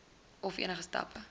of enige stappe